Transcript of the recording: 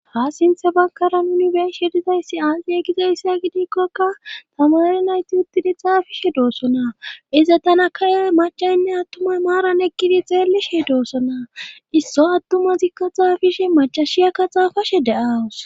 ha sinthe bagara nuni beeshe dizayssi aaxiya gizayssa gidikkokka tamari nayti uttidi xaafishe doosona iza tana kaya macaynne attumay maaran ekkidi xeelishe doosona isso attuma zikka xaafishe macashiyakka xaafashe de7awus